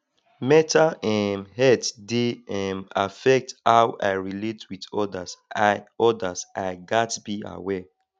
mental um health dey um affect how i relate with others i others i gats be aware